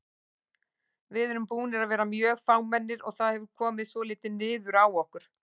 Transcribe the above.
Við erum búnir að vera mjög fámennir og það hefur komið svolítið niður á okkur.